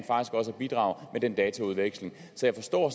bidrage med den dataudveksling så jeg forstår